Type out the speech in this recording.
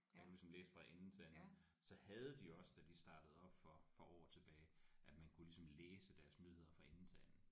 Jeg kunne ligesom læse fra ende til anden så havde de også da de startede op for for år tilbage at man kunne ligesom læse deres nyheder fra ende til anden